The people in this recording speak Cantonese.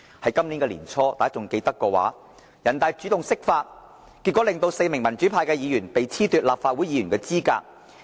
如果大家還記得，人大在今年年初主動釋法，令4名民主派議員被褫奪立法會議員的資格。